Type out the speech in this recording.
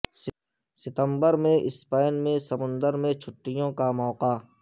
ستمبر میں سپین میں سمندر میں چھٹیوں کا موقع